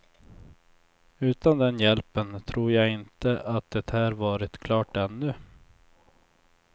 Utan den hjälpen tror jag inte att det här varit klart ännu.